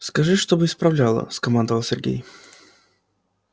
скажи чтобы исправляла скомандовал сергей